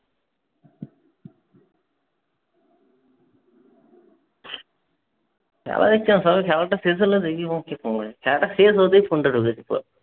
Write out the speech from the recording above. খেলা দেখছিলাম শালার খেলাটা খেলাটা শেষ হতেই ফোনটা